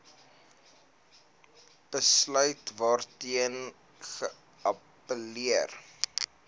besluit waarteen geappelleer